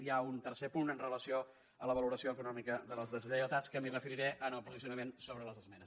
hi ha un tercer punt amb relació a la valoració econòmica de les deslleialtats que m’hi referiré en el posicionament sobre les esmenes